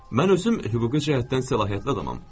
Mən özüm hüquqi cəhətdən səlahiyyətli adamam.